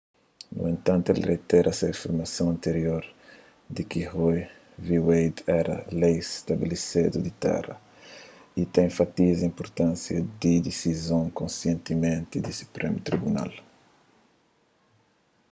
nu entanti el reitera se afirmason antirior di ki roe v wade éra lei stabelesedu di téra y ta enfatiza inpurtánsia di disizon konsistenti di suprému tribunal